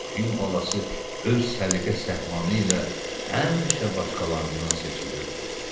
Axı fil balası öz səliqə-səhmanı ilə həmişə başqalarından seçilirdi.